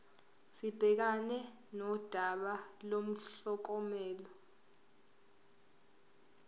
sibhekane nodaba lomklomelo